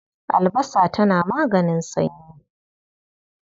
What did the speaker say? Albasa tana maganin sanyi.